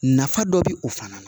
Nafa dɔ bɛ o fana na